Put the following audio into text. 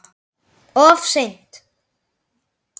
Of seint